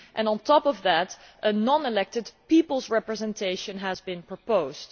On top of that, a non elected people's representation has been proposed.